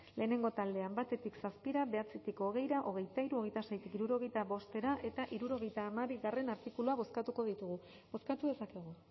lehenengo taldean batetik zazpira bederatzitik hogeira hogeita hiru hogeita seitik hirurogeita bostera eta hirurogeita hamabigarrena artikuluak bozkatuko ditugu bozkatu dezakegu